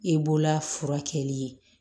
E bolola furakɛli